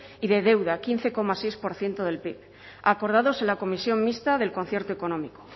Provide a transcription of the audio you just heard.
y de deuda quince coma seis por ciento del pib acordadas en la comisión mixta del concierto económico